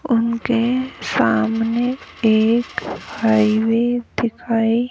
उनके सामने एक हाईवे दिखाई।